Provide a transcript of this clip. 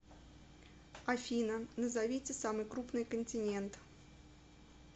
афина назовите самый крупный континент